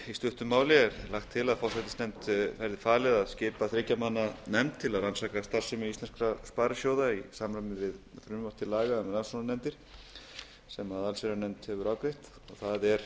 í stuttu máli er lagt til að forsætisnefnd verði falið að skipa þriggja manna nefnd til að rannsaka starfsemi íslenskra sparisjóða í samræmi við frumvarp til laga um rannsóknarnefndir sem allsherjarnefnd hefur afgreitt hér er